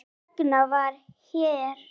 Þess vegna var herra